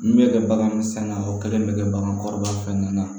Min bɛ kɛ bagan sanga o kɛlen bɛ kɛ bagan kɔrɔbaya fɛn na